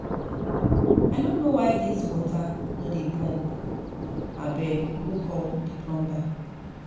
I no know why dis water no dey pump, abeg go go call the plumber